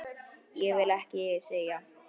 Ég vil ekki selja.